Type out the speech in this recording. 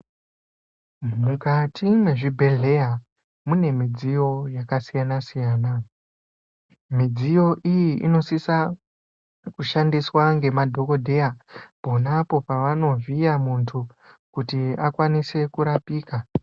Mukati mwezvibhedhleya mune midziyo yakasiyana siyana. Midziyo iyi inosisa kushandiswa ngemadhokodheya ponapo pavanovhiya munthu kuti akakwanise kurapika.